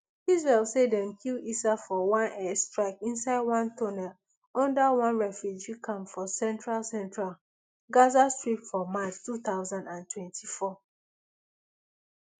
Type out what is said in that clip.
israel say dem kill issa for one air strike inside one tunnel under one refugee camp for central central gaza strip for march two thousand and twenty-four